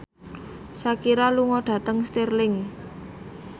Shakira lunga dhateng Stirling